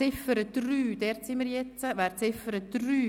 Wir kommen zur Ziffer 3 dieser Motion.